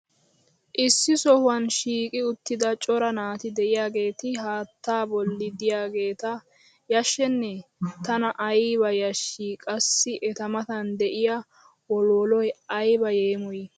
issi sohuwan shiiqqi uttida cora naati diyaageeti haattaa boli diyaageeta yashennee? tana ayba yashii! qassi eta matan diya wolwolloy ayba yeemoyii!